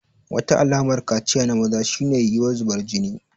Wata alamar kaciya na maza shine yiwuwar zubar jini.